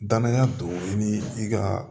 Danaya don i ni i ka